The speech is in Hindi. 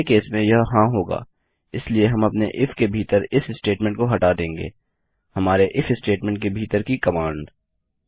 पहले केस में यह हाँ होगा इसलिए हम अपने इफ के भीतर इस स्टेटमेंट को हटा देंगे - हमारे इफ स्टेटमेंट के भीतर की कमांड